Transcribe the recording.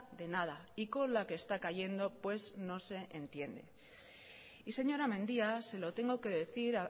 de nada y con la que está cayendo pues no se entiende y señora mendía se lo tengo que decir